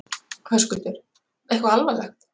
Höskuldur: Eitthvað alvarlegt?